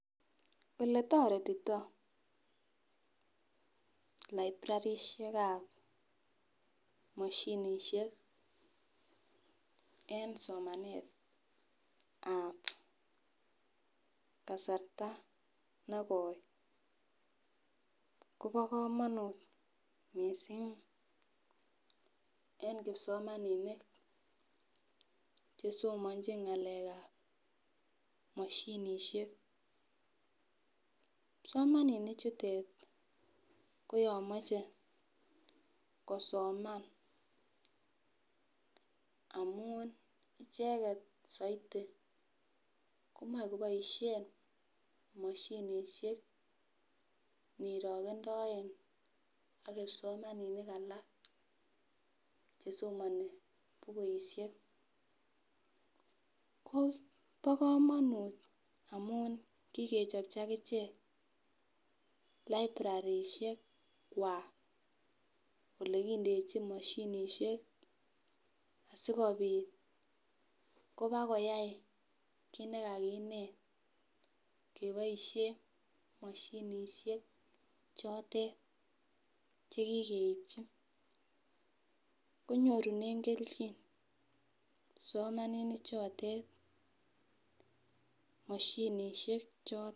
Oletoretito librarishekab moshinishek en somenet ab kasarta negoi Kobo komonut missing en kipsomaninik chesomonchin ngalek moshinishek . Kipsomaninik chute ko yon moche kosoman amun ichek soiti komoi koboishen moshinishek nirogendoe ak kipsomaninik alak chesomoni bukushek. Bo komonut amun kikechopchi akichek librarishek kwak olekindechin moshinishek sikopit koba koyai kit nekikinet keboishen moshinishek chotet chekikeipchi konyorunen keljin kipsomaninik chotet moshinishek choton.